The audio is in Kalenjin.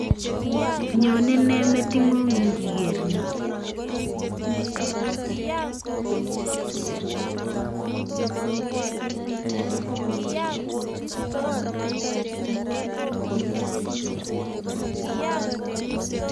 Nyonei nee meting'ung ngiker ni